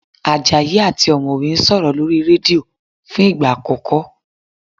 Àjàyí àti ọ̀mọ̀wẹ́ ń sọ̀rọ̀ lórí rédíò fún ìgbà àkọ́kọ́